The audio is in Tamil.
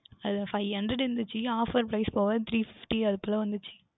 அது வந்து Five hundred இருந்தது Offer price போக three fifty அதுக்குள்ள வந்தது